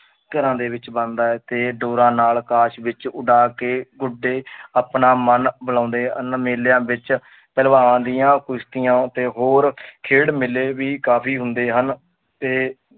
ਘਰਾਂ ਦੇ ਵਿੱਚ ਬਣਦਾ ਹੈ ਤੇ ਡੋਰਾਂ ਨਾਲ ਆਕਾਸ਼ ਵਿੱਚ ਉਡਾ ਕੇ ਗੁੱਡੇ ਆਪਣਾ ਮਨ ਬਹਿਲਾਉਂਦੇ ਹਨ, ਮੇਲਿਆਂ ਵਿੱਚ ਪਹਲਵਾਨ ਦੀਆਂ ਕੁਸ਼ਤੀਆਂ ਤੇ ਹੋਰ ਖੇਡ ਮੇਲੇ ਵੀ ਕਾਫ਼ੀ ਹੁੰਦੇ ਹਨ ਤੇ